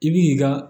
I bi ka